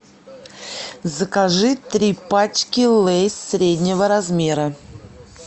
закажи три пачки лейс среднего размера